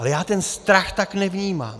Ale já ten strach tak nevnímám.